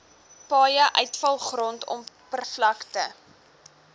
paaie uitvalgrond oppervlakte